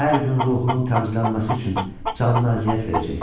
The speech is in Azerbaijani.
Hər gün ruhunun təmizlənməsi üçün canına əziyyət verəcəksən.